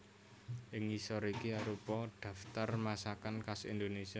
Ing ngisor iki arupa dhaptar masakan khas Indonésia